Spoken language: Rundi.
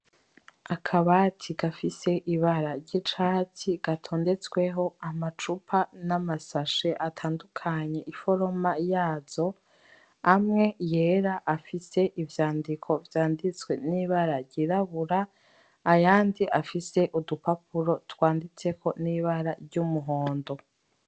Akabati gafise ibara ry’icatsi gatondetsweho amacupa n’amasashi atandukanye iforoma yazo amwe yera afise ivyandiko vyanditswe n’ibara ryirabura ayandi afise udupapuro twanditseko n’ibara ry’umuhondo.